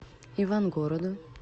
ивангороду